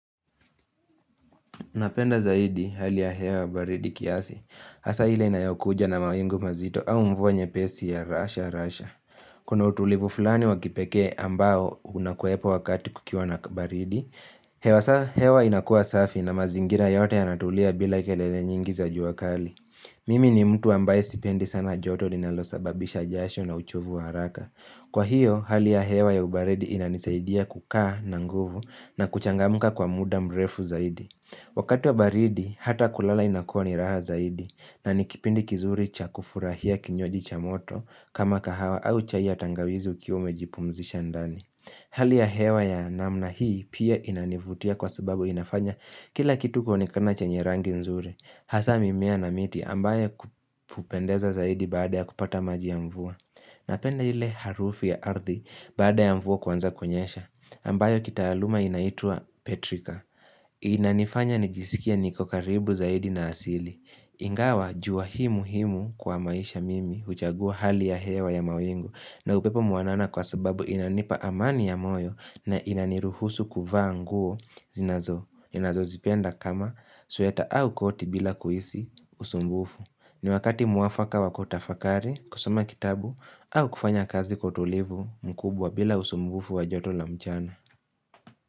Napenda zaidi hali ya hewa baridi kiasi, hasa hile inayokuja na mawingu mazito au mvua nyepesi ya rasha rasha. Kuna utulivu fulani wakipeke ambao unakuepo wakati kukiwa na baridi, hewa inakuwa safi na mazingira yote anatulia bila kelele nyingi za juwakali. Mimi ni mtu ambaye sipendi sana joto ninalosababisha jasho na uchovu haraka. Kwa hiyo, hali ya hewa ya ubaridi inanisaidia kukaa na nguvu na kuchangamuka kwa muda mrefu zaidi. Wakati wa baridi, hata kulala inakua ni raha zaidi na nikipindi kizuri cha kufurahia kinywaji cha moto kama kahawa au chai ya tangawizi ukiwa umejipumzisha ndani Hali ya hewa ya namna hii pia inanivutia kwa sababu inafanya kila kitu kuonekana chanye rangi nzuri hasa mimea na miti ambaye kupendeza zaidi baada ya kupata maji ya mvua Napenda ile harufi ya ardhi baada ya mvua kuanza kwenyesha ambayo kita aluma inaitua Petrika Inanifanya nijisikia niko karibu zaidi na asili Ingawa jua hii muhimu kwa maisha mimi uchagua hali ya hewa ya mawingu na upepo mwanana kwa sababu inanipa amani ya moyo na inaniruhusu kuvaa nguo zinazo ninazozipenda kama sweta au koti bila kuhisi usumbufu ni wakati mwafaka wa kutafakari kusoma kitabu au kufanya kazi kwa utulivu mkubwa bila usumbufu wa joto la mchana.